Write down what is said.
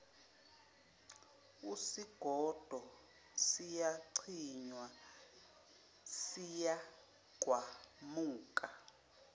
usigodo siyacinywa siyagqamuka